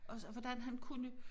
Og så hvordan han kunne